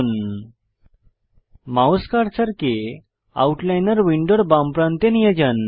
double headed arrow প্রদর্শিত হওয়া পর্যন্ত আপনার মাউস কার্সারকে আউটলাইনর উইন্ডোর নীচের প্রান্তে নিয়ে যান